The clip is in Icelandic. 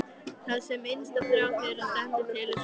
Það sem innsta þrá þeirra stendur til er sonarsonur.